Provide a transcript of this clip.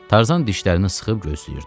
Tarzan dişlərini sıxıb gözləyirdi.